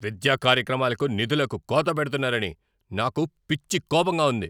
విద్యా కార్యక్రమాలకు నిధులకు కోత పెడుతున్నారని నాకు పిచ్చి కోపంగా ఉంది.